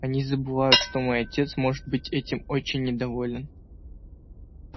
они забывают что мой отец может быть этим очень недоволен